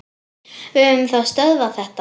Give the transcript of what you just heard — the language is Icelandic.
Við höfum þá stöðvað þetta.